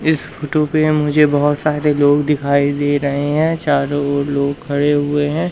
इस फोटो पे मुझे बहोत सारे लोग दिखाई दे रहे हैं चारों ओर लोग खड़े हुए हैं।